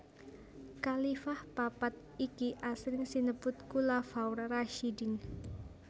Khalifah papat iki asring sinebut Khulafaur Rasyidin